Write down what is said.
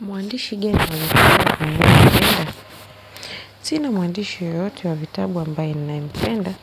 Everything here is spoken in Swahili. Mwandishi gani wa vitabu ambaye ninayempenda. Sina mwandishi yeyote wa vitabu ambaye ninayempenda